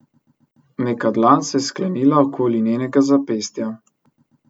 Neka dlan se je sklenila okoli njenega zapestja.